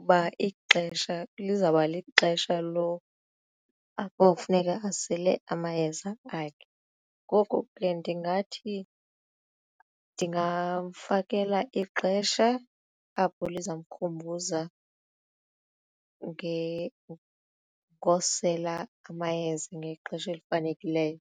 uba ixesha lizawuba lixesha apho kufuneka asele amayeza akhe ngoku ke ndingathi ndingamfakela ixesha apho liza mkhumbuza ngosela amayeza ngexesha elifanelekileyo.